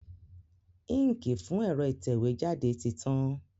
Íǹkì fún ẹ̀rọ ìtẹ̀wé jáde ti tán.